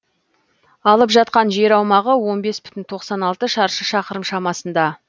алып жатқан жер аумағы он бес бүтін тоқсан алты шаршы шақырым шамасында